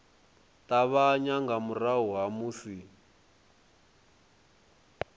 ṱavhanya nga murahu ha musi